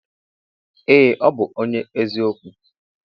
Ee ọbu ọnye eziokwu.